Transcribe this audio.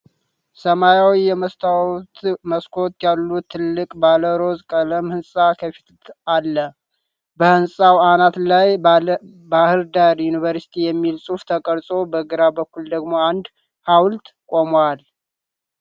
ሰማያዊ የመስታወት መስኮቶች ያሉት ትልቅ ባለ-ሮዝ ቀለም ሕንፃ ከፊት አለ። በሕንፃው አናት ላይ ባሕር ዳር ዩኒቨርሲቲ የሚል ጽሑፍ ተቀርጾ፣ በግራ በኩል ደግሞ አንድ ሐውልት ቆሟል።